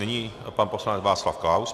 Nyní pan poslanec Václav Klaus.